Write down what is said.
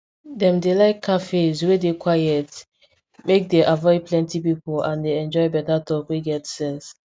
dem dey like cafes wey dey quiet make dey avoid plenty people and dey enjoy better talk wey get sense